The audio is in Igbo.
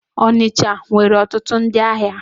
Onitsha nwere otutu ndi ahia